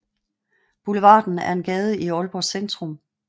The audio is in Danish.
Boulevarden er en gade i Aalborg Centrum